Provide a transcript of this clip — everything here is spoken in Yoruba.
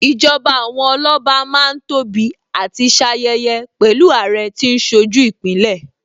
Ìjọba àwọn Ọlọ́ba Má ń tóbi àti ṣayẹyẹ pẹ̀lú Àrẹ tí ń ṣojú Ìpínlẹ̀